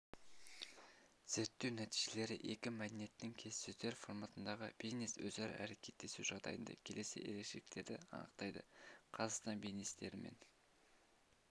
зерттеу нәтижелері екі мәдениеттің келіссөздер форматындағы бизнес-өзара әрекеттесу жағдайында келесі ерекшеліктерді анықтады қазақстан бизнесмендерімен